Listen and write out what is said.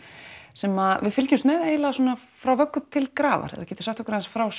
sem við fylgjumst með svona frá vöggu til grafar geturu sagt okkur aðeins frá